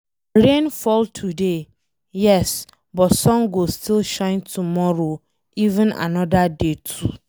Rain fall today, yes, but sun go still shine tomorrow even anoda day too.